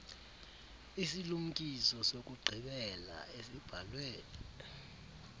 isilumkiso sokugqibela esibhalwe